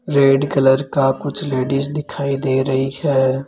Red colour का कुछ ladies दिखाई दे रही है।